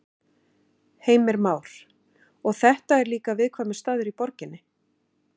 Heimir Már: Og þetta er líka viðkvæmur staður í borginni?